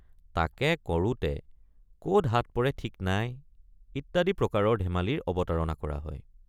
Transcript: তাকে কৰোঁতে কত হাত পৰে ঠিক নাই ইত্যাদি প্ৰকাৰৰ ধেমালিৰ অৱতাৰণা কৰা হয়।